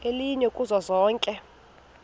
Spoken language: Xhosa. elinye kuzo zonke